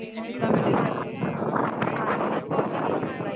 ਜਿਦਾਂ